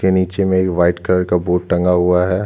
के नीचे में एक वाईट कलर का बोर्ड टंगा हुआ हैं।